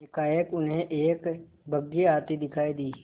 एकाएक उन्हें एक बग्घी आती दिखायी दी